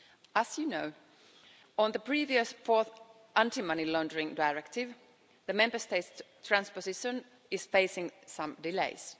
As you know, on the previous fourth Anti-Money Laundering Directive, the Member States transposition is facing some delays.